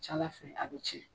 Caya fɛ a bi kɛ